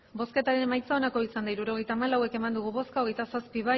hirurogeita hamalau eman dugu bozka hogeita zazpi